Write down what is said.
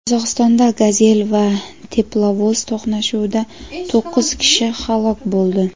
Qozog‘istonda "Gazel" va teplovoz to‘qnashuvida to‘qqiz kishi halok bo‘ldi.